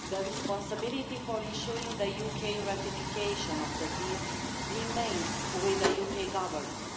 Responsibility for ensuring UK ratification of the deal remains with the UK Government.